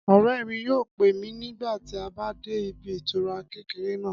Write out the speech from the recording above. Ọ̀rẹ́ mi yóò pè mí nígbà tí a bá dé ibi ìtura kékeré náà